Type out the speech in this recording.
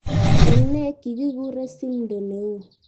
Eng ne kikikure Simdo ne o.